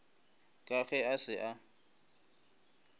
ka ge a se a